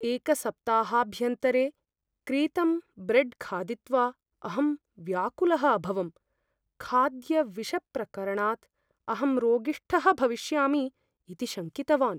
एकसप्ताहाभ्यन्तरे क्रीतं ब्रेड् खादित्वा अहं व्याकुलः अभवम्, खाद्यविषप्रकरणात् अहं रोगिष्ठः भविष्यामि इति शङ्कितवान्।